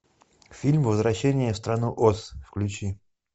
фильм возвращение в страну оз включи